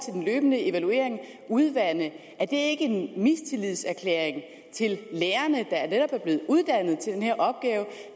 den løbende evaluering udvande er det ikke en mistillidserklæring til lærerne der netop er blevet uddannet til den her opgave